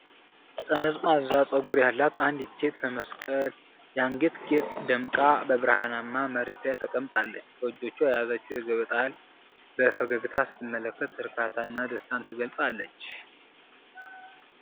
ጠመዝማዛ ጸጉር ያላት አንዲት ሴት በመስቀል የአንገት ጌጥ ደምቃ፣ በበረሃማ መሬት ላይ ተቀምጣለች። በእጆቿ የያዘችውን የገበጣ እህል በፈገግታ ስትመለከት፣ እርካታንና ደስታን ትገልጻለች።